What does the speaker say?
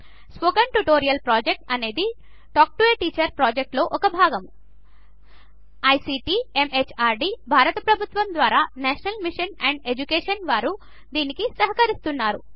spoken tutorial project అనేది talk to a teacher ప్రాజెక్ట్లో ఒక భాగము ఐసీటీ ఎంహార్డీ భారత ప్రభుత్వము ద్వారా నేషనల్ మిషన్ ఆన్ ఎడ్యుకేషన్ వారు దీనికి సహకరిస్తున్నారు